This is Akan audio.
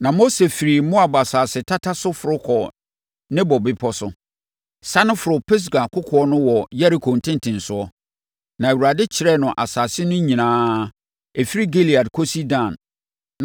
Na Mose firi Moab asase tata so foro kɔɔ Nebo Bepɔ so, sane foroo Pisga kokoɔ no wɔ Yeriko ntentenesoɔ. Na Awurade kyerɛɛ no asase no nyinaa, ɛfiri Gilead kɔsi Dan;